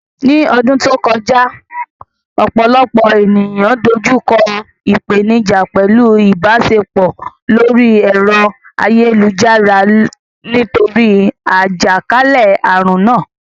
Ní ọdún tó kọjá, ọ̀pọ̀lọpọ̀ ènìyàn dojú kọ ìpèníjà pẹ̀lú ìbáṣepọ̀ lórí ẹ̀rọ ayélujára nítorí àjàkálẹ̀ àrùn náà.